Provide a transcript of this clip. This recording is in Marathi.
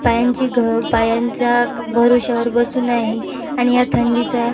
पायांची घ पायांच्या भरोशावर बसून आहे आणि या थंडीचा--